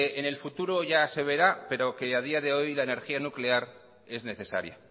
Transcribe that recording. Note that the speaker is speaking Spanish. en el futuro ya se verá pero que a día de hoy la energía nuclear es necesaria